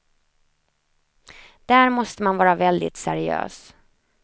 Där måste man vara väldigt seriös.